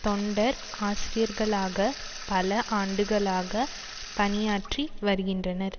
தொண்டர் ஆசிரியர்களாக பல ஆண்டுகளாக பணியாற்றி வருகின்றனர்